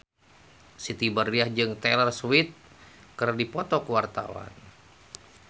Siti Badriah jeung Taylor Swift keur dipoto ku wartawan